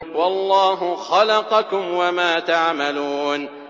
وَاللَّهُ خَلَقَكُمْ وَمَا تَعْمَلُونَ